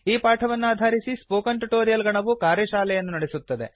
ಈ ಪಾಠವನ್ನಾಧರಿಸಿ spoken tutorial ನ ಗಣವು ಕಾರ್ಯಶಾಲೆಯನ್ನು ನಡೆಸುತ್ತದೆ